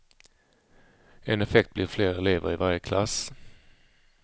En effekt blir fler elever i varje klass.